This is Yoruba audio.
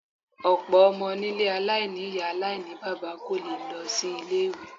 Ọ̀pọ̀ ọmọ nílé aláìní ìyá aláìníbaba kò lè lọ sí ilé-ìwé.